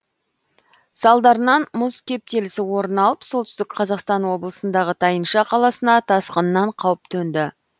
салдарынан мұз кептелісі орын алып солтүстік қазақстан облысындағы тайынша қаласына тасқыннан қауіп төнді